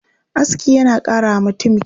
Aski yana ƙara wa mutum kyau.